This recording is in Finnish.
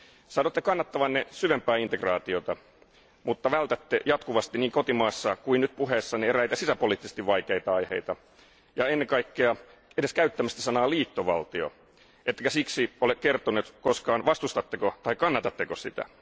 Sanotte kannattavanne syvempää integraatiota, mutta vältätte jatkuvasti niin kotimaassa kuin nyt puheessanne eräitä sisäpoliittisesti vaikeita aiheita ja ennen kaikkea edes käyttämästä sanaa liittovaltio, ettekä siksi ole kertonut koskaan vastustatteko vai kannatatteko sitä.